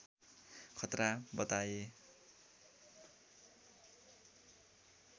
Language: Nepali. खतरा बताए